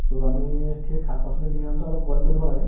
so, আমি সেই শাক-পাচলিখিনি আনোতে অলপ boil কৰিব লাগে